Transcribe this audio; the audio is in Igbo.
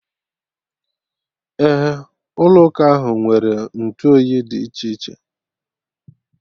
Ee, ụlọ ụka ahụ nwere ntụoyi dị iche iche